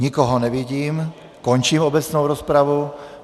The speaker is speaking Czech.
Nikoho nevidím, končím obecnou rozpravu.